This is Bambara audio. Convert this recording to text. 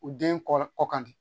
U den kɔ kan de